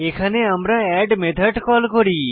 এখানে আমরা add method call করি